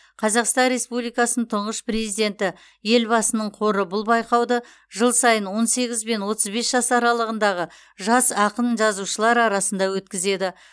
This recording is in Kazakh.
қазақстан республикасының тұңғыш президенті елбасының қоры бұл байқауды жыл сайын он сегіз бен отыз бес жас аралығындағы жас ақын жазушылар арасында өткізеді